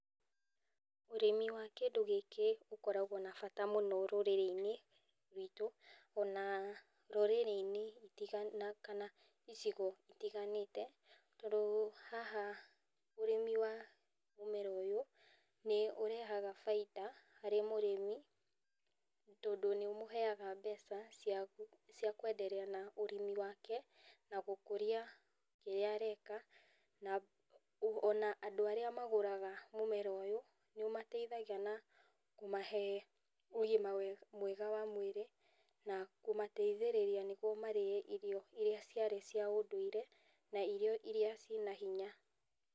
Ũrĩmi wa kĩndũ gĩkĩ ũkoragwo na bata mũno rũrĩrĩ-inĩ rwitũ ona rũrĩrĩ-inĩ kana icigo itiganĩte. Tondũ haha ũrĩmi wa mũmera ũyũ nĩ ũrehaga baida harĩ mũrĩmi tondũ nĩ ũmũheaga mbeca cia kwenderea na ũrĩmi wake na gũkũria kĩrĩa areka. Na ona andũ arĩa magũraga mũmera ũyũ nĩ ũmateithagia na kũmahe ũgima mwega wa mwĩrĩ, na kũmateithĩrĩria nĩguo marĩe irio iria ciarĩ cia ũndũire na irio iria cina hinya.